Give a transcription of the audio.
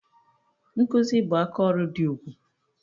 Nkụzi bụ aka ọrụ dị ugwu